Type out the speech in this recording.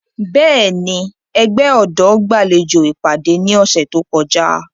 Bẹ́ẹ̀ni, ẹgbẹ ọdọ gbalejo ipade ni ọsẹ to kọja.